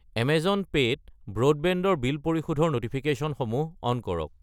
Amazon Pay ত broadband ৰ bill পৰিশোধৰ ন'টিফিকেশ্যনসমূহ অন কৰক।